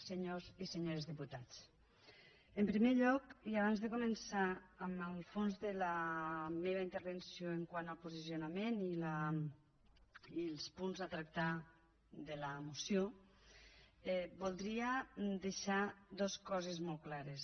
senyors i senyores diputats en primer lloc i abans de començar amb el fons de la meva intervenció quant al posicionament i els punts a tractar de la moció voldria deixar dues coses molt clares